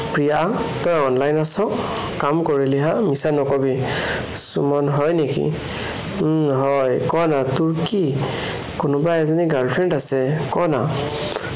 প্ৰিয়া, তই online আছ, কাম কৰিলি হা, মিছা নকবি, সুমন, হয় নেকি, উম হয় কোৱানা তোৰ কি কোনোবা এজনী girlfriend আছে কোৱানা?